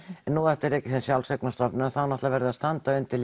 en nú er þetta rekið sem sjálfseignarstofnun og þá þarf náttúrulega að standa undir